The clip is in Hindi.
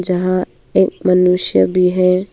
यहां एक मनुष्य भी है।